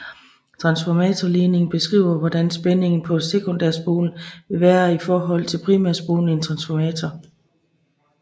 Transformatorligningen beskriver hvordan spændingen på sekundærspolen vil være i forhold til primærspolen i en transformator